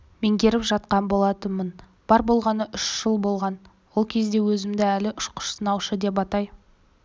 меңгеріп жатқан болатынмын бар болғаны үш жыл болған ол кезде өзімді әлі ұшқыш-сынаушы деп атай